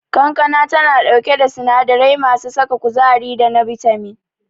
Kankana tana dauke da sinadari mai saka kuzari da na bitamin.